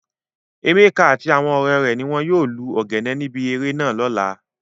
Emeka ati awon ọmọ re ni won yoo lu ogene nibi ere naa lola.